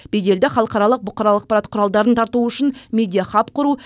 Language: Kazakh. беделді халықаралық бұқаралық ақпарат құралдарын тарту үшін медиахаб құру